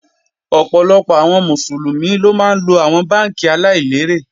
Ọ̀pọ̀lọpọ̀ àwọn Mùsùlùmí ló máa ńlo àwọn bánkì aláìlérè